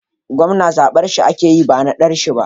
gwamna zabar shi ake ba nadashi ba